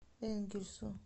энгельсу